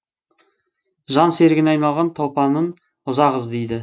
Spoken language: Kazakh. жан серігіне айналған топанын ұзақ іздейді